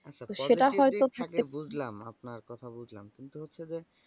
আচ্ছা positive দিক থাকে সেটা হয়তো থাকে বুজলাম আপনার কথা বুজলাম কিন্তু হচ্ছে যে।